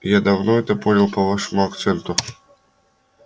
я давно это понял по вашему акценту